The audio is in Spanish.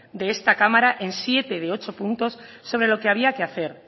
de esta cámara en siete de ocho puntos sobre lo que había que hacer